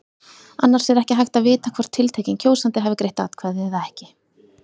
Annars er ekki hægt að vita hvort tiltekinn kjósandi hafi greitt atkvæði eða ekki.